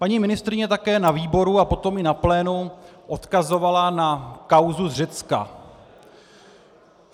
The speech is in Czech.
Paní ministryně také na výboru a potom i na plénu odkazovala na kauzu z Řecka.